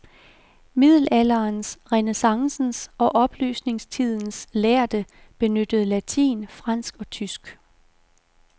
Middelalderens, renæssancens og oplysningstidens lærde benyttede latin, fransk og tysk.